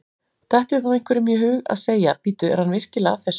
Dettur þá einhverjum í hug að segja: Bíddu, er hann virkilega að þessu?